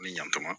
Ni yantama